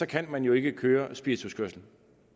kan man jo ikke køre spirituskørsel